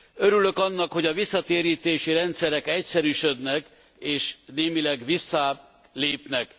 Örülök annak, hogy a visszatérítési rendszerek egyszerűsödnek és némileg visszább lépnek.